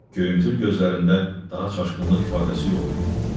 Göyümtül gözlərində daha çaşqınlıq ifadəsi yox idi.